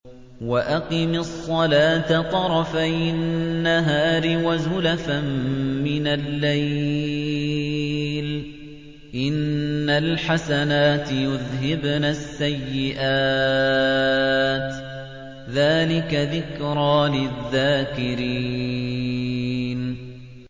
وَأَقِمِ الصَّلَاةَ طَرَفَيِ النَّهَارِ وَزُلَفًا مِّنَ اللَّيْلِ ۚ إِنَّ الْحَسَنَاتِ يُذْهِبْنَ السَّيِّئَاتِ ۚ ذَٰلِكَ ذِكْرَىٰ لِلذَّاكِرِينَ